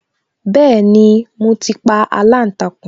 Bẹẹni, mo ti pa aláǹtakùn